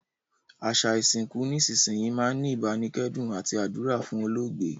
Àsà ìsinkù nísinsìnyi máa n ni ìbánikẹ́dùn àti àdúrà fún olóògbé